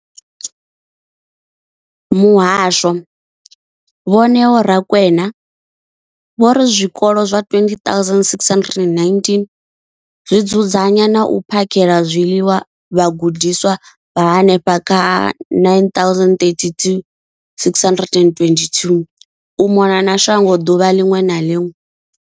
Muhasho, Vho Neo Rakwena, vho ri zwikolo zwa 20 619 zwi dzudzanya na u phakhela zwiḽiwa vhagudiswa vha henefha kha 9 032 622 u mona na shango ḓuvha ḽiṅwe na ḽiṅwe.